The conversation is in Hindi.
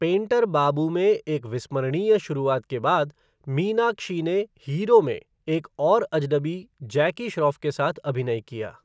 पेंटर बाबू में एक विस्मरणीय शुरुआत के बाद, मीनाक्षी ने हीरो में एक और अजनबी जैकी श्रॉफ़ के साथ अभिनय किया।